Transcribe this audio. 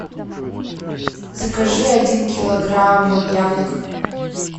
закажи один килограмм яблок